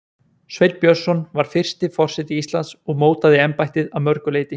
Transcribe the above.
Sveinn Björnsson var fyrsti forseti Íslands og mótaði embættið að mörgu leyti.